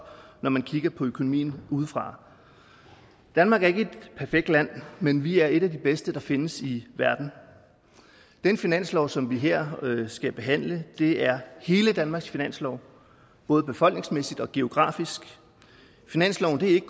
når man kigger på økonomien udefra danmark er ikke et perfekt land men vi er et af de bedste der findes i verden den finanslov som vi her skal behandle er hele danmarks finanslov både befolkningsmæssigt og geografisk finansloven er ikke